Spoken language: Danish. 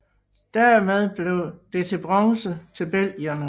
Dermed blev det til bronze til belgierne